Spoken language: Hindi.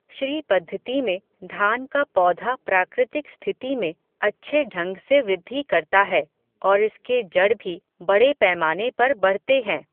श्री पद्धति में धान का पौधा प्राकृतिक स्थिति में अच्छे ढंग से वृद्धि करता है और इसके जड़ भी बड़े पैमाने पर बढ़ते हैं.